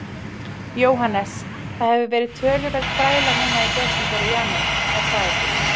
Jóhannes: Það hefur verið töluverð bræla núna í desember og janúar, er það ekki?